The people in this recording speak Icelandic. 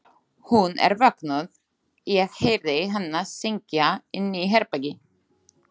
Hún er vöknuð, ég heyrði hana syngja inni í herbergi.